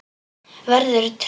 Verður tré.